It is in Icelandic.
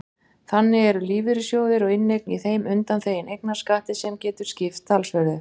Þannig eru lífeyrissjóðir og inneign í þeim undanþegin eignarskatti sem getur skipt talsverðu.